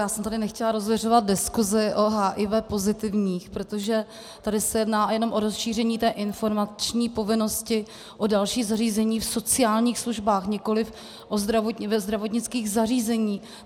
Já jsem tady nechtěla rozviřovat diskusi o HIV pozitivních, protože tady se jedná jenom o rozšíření té informační povinnosti o další zařízení v sociálních službách, nikoliv ve zdravotnických zařízeních.